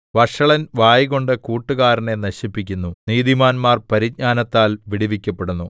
വഷളൻ വായ്കൊണ്ട് കൂട്ടുകാരനെ നശിപ്പിക്കുന്നു നീതിമാന്മാർ പരിജ്ഞാനത്താൽ വിടുവിക്കപ്പെടുന്നു